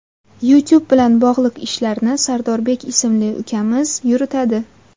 YouTube bilan bog‘liq ishlarni Sardorbek ismli ukamiz yuritadi.